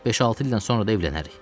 Beş-altı ildən sonra da evlənərik.